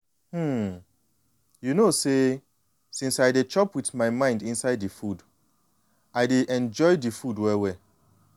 hmm you know say since i dey chop with my mind inside the food i de enjoy the food well-well.